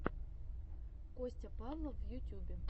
костя павлов в ютюбе